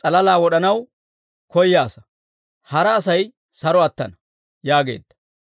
s'alalaa wod'anaw koyaasa; hara Asay saro attana» yaageedda.